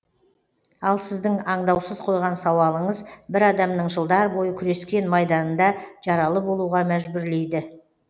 ал сіздің аңдаусыз қойған сауалыңыз бір адамның жылдар бойы күрескен майданында жаралы болуға мәжбүрлейді